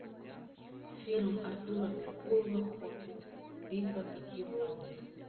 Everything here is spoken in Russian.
фильм артура меркулова хоббит битва пяти воинств